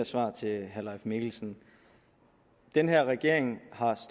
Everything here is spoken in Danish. svar til herre leif mikkelsen den her regering har